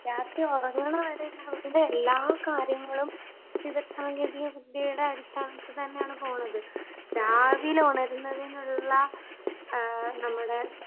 രാത്രി ഉറങ്ങണവരെയുള്ള എല്ലാ കാര്യങ്ങളും വിവരസാങ്കേതികവിദ്യയുടെ അടിസ്ഥാനത്തിൽ തന്നെയാണ് പോണത്. രാവിലെ ഉണരുന്നതിനുള്ള നമ്മുടെ